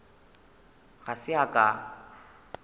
ga se a ka a